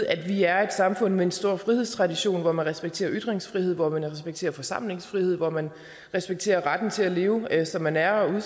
at vi er et samfund med en stor frihedstradition hvor man respekterer ytringsfrihed hvor man respekterer forsamlingsfrihed hvor man respekterer retten til at leve som man er og